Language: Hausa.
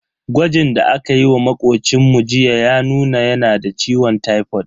Gwajin da akayi wa makocinmu jiya ya nuna yana da ciwon tipod.